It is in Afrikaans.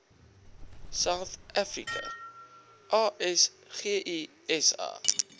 south africa asgisa